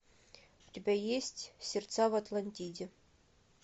у тебя есть сердца в атлантиде